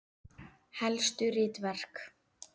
Helstu ritverk